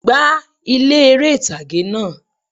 Gbá ilé eré ìtàgé náà